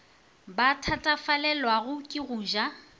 ba thatafalelwago ke go ja